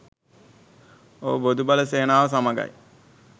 ඔව් බොදු බල සේනාව සමඟයි